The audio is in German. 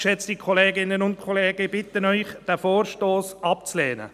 Geschätzte Kolleginnen und Kollegen, ich bitte Sie, diesen Vorstoss abzulehnen.